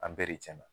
An bɛɛ de tiɲɛna